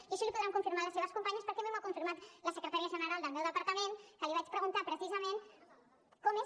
i això l’hi podran confirmar les seves companyes perquè a mi m’ho ha confirmat la secretària general del meu departament que li vaig preguntar precisament com és